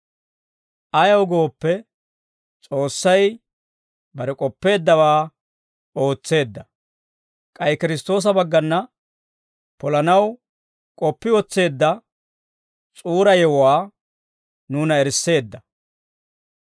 Ayaw gooppe, S'oossay bare k'oppeeddawaa ootseedda; k'ay Kiristtoosa baggana polanaw k'oppi wotseedda S'uura yewuwaa nuuna erisseedda.